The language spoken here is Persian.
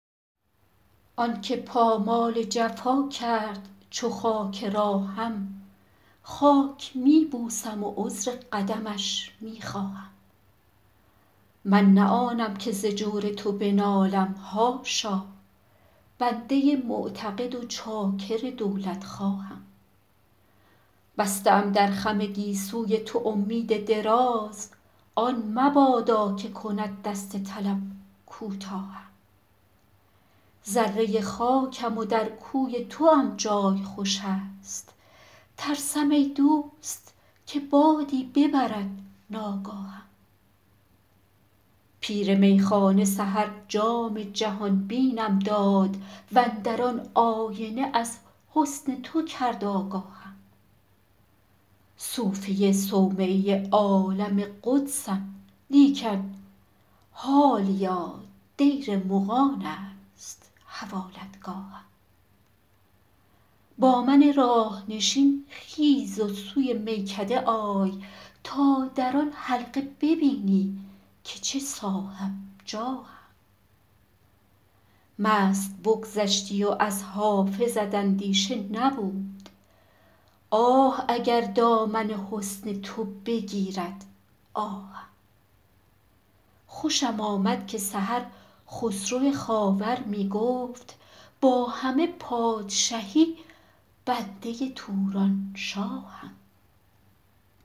آن که پامال جفا کرد چو خاک راهم خاک می بوسم و عذر قدمش می خواهم من نه آنم که ز جور تو بنالم حاشا بنده معتقد و چاکر دولتخواهم بسته ام در خم گیسوی تو امید دراز آن مبادا که کند دست طلب کوتاهم ذره خاکم و در کوی توام جای خوش است ترسم ای دوست که بادی ببرد ناگاهم پیر میخانه سحر جام جهان بینم داد و اندر آن آینه از حسن تو کرد آگاهم صوفی صومعه عالم قدسم لیکن حالیا دیر مغان است حوالتگاهم با من راه نشین خیز و سوی میکده آی تا در آن حلقه ببینی که چه صاحب جاهم مست بگذشتی و از حافظت اندیشه نبود آه اگر دامن حسن تو بگیرد آهم خوشم آمد که سحر خسرو خاور می گفت با همه پادشهی بنده تورانشاهم